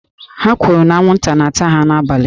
Ha kwuru na anwụnta na-ata ha n'abalị